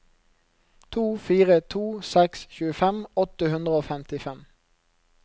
to fire to seks tjuefem åtte hundre og femtifem